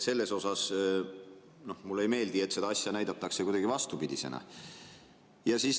Selles mõttes mulle ei meeldi, et seda asja näidatakse kuidagi vastupidisena.